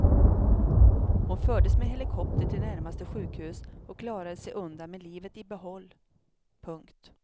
Hon fördes med helikopter till närmaste sjukhus och klarade sig undan med livet i behåll. punkt